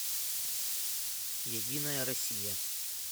единая россия